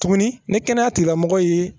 Tuguni ni kɛnɛya tigilamɔgɔ ye